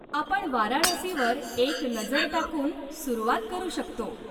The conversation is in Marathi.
आपण वाराणसीवर एक नजर टाकून सुरुवात करू शकतो.